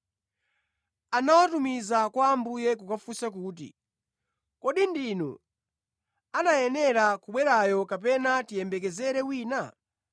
anawatumiza kwa Ambuye kukafunsa kuti, “Kodi ndinu anayenera kubwerayo, kapena tiyembekezere wina?”